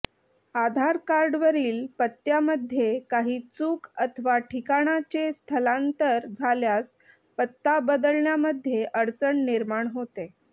आधारकार्डवरील पत्त्यामध्ये काही चूक अथवा ठिकाणाचे स्थलांतर झाल्यास पत्ता बदलण्यामध्ये अडचण निर्माण होते